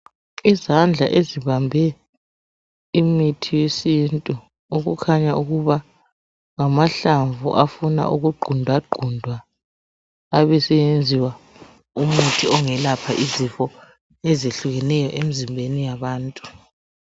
Izandla ezibambe imithi yesintu okukhanya ukuba ngamahlamvu afuna ukugqundwa gqundwa abaseyenziwa umithi ongelapha izifo ezehlukeneyo emzimbeni wabantu.